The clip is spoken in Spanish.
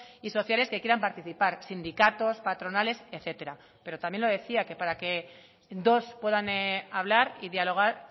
y sociales que quieran participar sindicatos patronales etcétera pero también lo decía que para que dos puedan hablar y dialogar